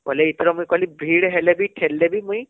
ବୋଇଲେ ଏଥର ମୁଇଁ କହିଲି ଭିଡ଼ ହେଲେ ବି ଠେଲି ଦେବୀ ମୁଇଁ